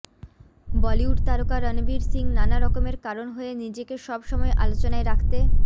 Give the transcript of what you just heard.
বলিউড তারকা রণবীর সিং নানা রকমের কারণ হয়ে নিজেকে সব সময় আলোচনায় রাখতে